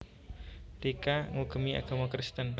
Tika ngugemi agama Kristen